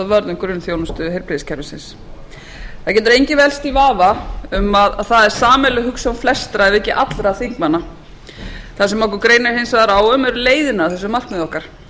um grunnþjónustu heilbrigðiskerfisins það getur enginn velkst í vafa um að það er sameiginleg hugsjón flestra ef ekki allra þingmanna það sem okkur greinir hins vegar á um eru leiðirnar að þessu markmiði okkar